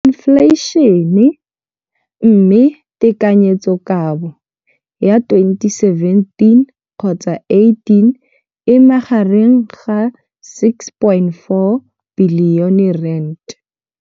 Infleišene, mme tekanyetsokabo ya 2017, 18, e magareng ga R6.4 bilione.